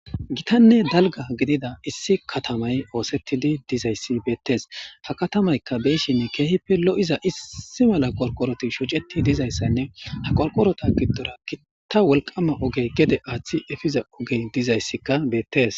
gitanne dalga gidida issi katamay oosettidi dizayssi beettes ha katamaykka beeshin keehippe lo7iza issi mala qorqoroti shuceti dizayssanne ha qorqorota giddora gitta wolqama ogey gede aaththi efiza ogey dizayssikka beettees